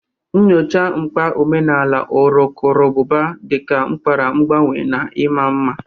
Nyochaa mkpa omenala urukurubụba dị ka akara mgbanwe na ịma mma.